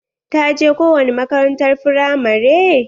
Ta je ko wani makarantar firamare?